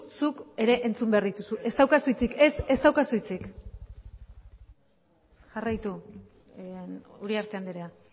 zuk ere entzun behar dituzu ez daukazu hitzik ez daukazu hitzik jarraitu uriarte andrea